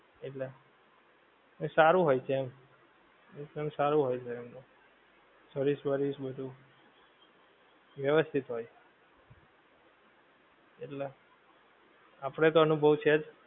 એટલે. એ સારું હોય છે એમ એ સારું હોય છે એમ. service વર્વિસ બધુ, વ્યવસ્થિત હોય. એટલે. આપડે તો અનુભવ છે જ.